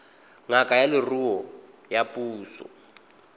ngaka ya leruo ya puso